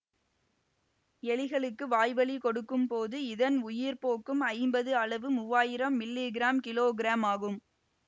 எலிகளுக்கு வாய்வழி கொடுக்கும் போது இதன் உயிர் போக்கும் ஐம்பது அளவு மூவாயிரம் மில்லிகிராம் கிலோகிராம் ஆகும்